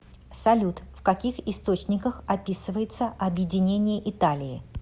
салют в каких источниках описывается объединение италии